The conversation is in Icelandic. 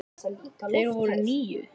Þeir voru níu.